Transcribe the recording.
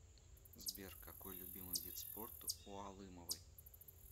сбер какой любимый вид спорта у алымовой